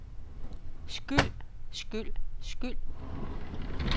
skyld skyld skyld